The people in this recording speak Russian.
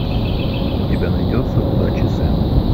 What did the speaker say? у тебя найдется удачи сэм